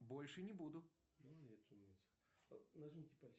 больше не буду